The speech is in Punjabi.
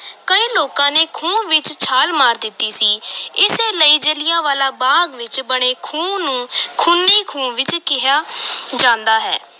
ਕਈ ਲੋਕਾਂ ਨੇ ਖੂਹ ਵਿਚ ਛਾਲ ਮਾਰ ਦਿੱਤੀ ਸੀ ਇਸੇ ਲਈ ਜਲ੍ਹਿਆਂਵਾਲੇ ਬਾਗ ਵਿਚ ਬਣੇ ਖੂਹ ਨੂੰ ਖੂਨੀ ਖੂਹ ਵੀ ਕਿਹਾ ਜਾਂਦਾ ਹੈ।